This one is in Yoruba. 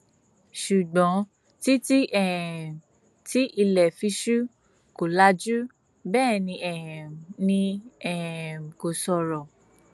ṣùgbọn títí um tí ilẹ fi ṣú kò lajú bẹẹ ni um ni um kò sọrọ